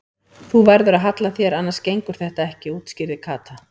Þú verður að halla þér annars gengur þetta ekki útskýrði Kata.